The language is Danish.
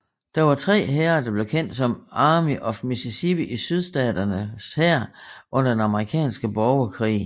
Der var tre hære der blev kendt som Army of Mississippi i Sydstaternes hær under den amerikanske borgerkrig